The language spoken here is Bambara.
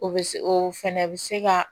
O bɛ se o fɛnɛ bɛ se ka